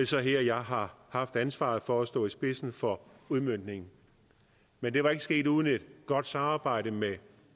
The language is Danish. så her jeg har haft ansvaret for at stå i spidsen for udmøntningen men det var ikke sket uden et godt samarbejde med